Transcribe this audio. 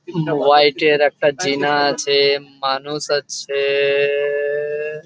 হোয়াটের একটা চীনা আছে মানুষ আছে এএএএ ।